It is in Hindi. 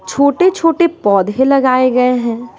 छोटे-छोटे पौधे लगाए गए हैं।